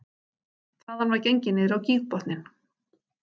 Þaðan var gengið niður á gígbotninn